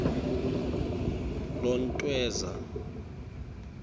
lontweza